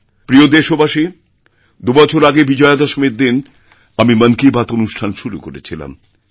প্রিয়দেশবাসী দুবছর আগে বিজয়াদশমীর দিন আমি মন কি বাত অনুষ্ঠান শুরু করেছিলাম